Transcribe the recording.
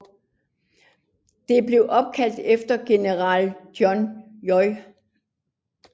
Det blev opkaldt efter general John J